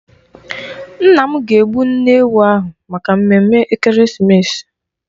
Nna m ga-egbu nne ewu ahụ maka ememme Ekeresimeesi.